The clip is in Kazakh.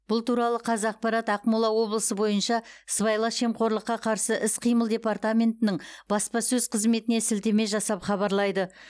бұл туралы қазақпарат ақмола облысы бойынша сыбайлас жемқорлыққа қарсы іс қимыл департаментінің баспасөз қызметіне сілтеме жасап хабарлайды